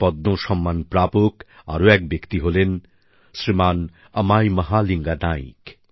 পদ্ম সম্মান প্রাপক আর এক ব্যক্তি হলেন শ্রীমান অমাই মহালিঙ্গা নাইক